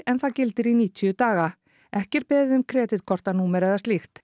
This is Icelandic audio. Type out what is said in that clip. en það gildir í níutíu daga ekki er beðið um kreditkortanúmer eða slíkt